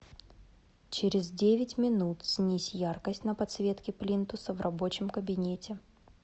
через девять минут снизь яркость на подсветке плинтуса в рабочем кабинете